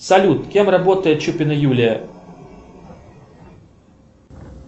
салют кем работает чупина юлия